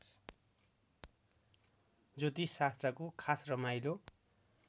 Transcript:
ज्योतिषशास्त्रको खास रमाइलो